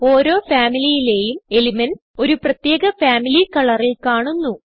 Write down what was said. ഓരോ Familyലേയും എലിമെന്റ്സ് ഒരു പ്രത്യേക ഫാമിലി കളറിൽ കാണുന്നു